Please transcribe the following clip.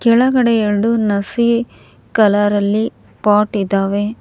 ಕೆಳಗಡೆ ಎರಡು ನಸಿ ಕಲರ್ ಅಲ್ಲಿ ಪಾಟ್ ಇದಾವೆ.